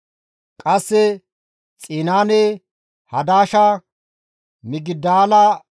Qasse Xinaane, Hadasha, Migidaala-Gaade,